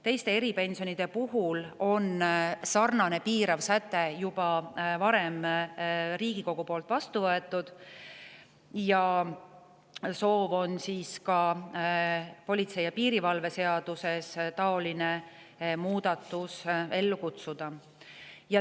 Teiste eripensionide puhul on sarnane piirav säte juba varem Riigikogus vastu võetud, nüüd on soov ka politsei ja piirivalve seaduses seesugune muudatus ellu kutsuda.